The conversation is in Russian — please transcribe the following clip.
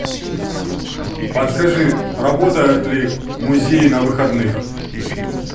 подскажи работают ли музеи на выходных